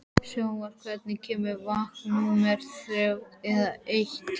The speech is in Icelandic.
Svanþór, hvenær kemur vagn númer þrjátíu og eitt?